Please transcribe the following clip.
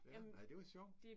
Ja. Ej det var sjovt